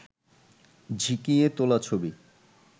ঝিঁকিয়ে তোলা ছবি